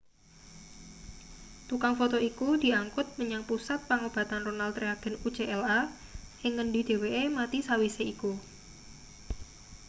tukang foto iku diangkut menyang pusat pengobatan ronald reagen ucla ing ngendi dheweke mati sawise iku